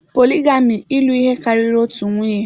Poligami ịlụ ihe karịrị otu nwunye.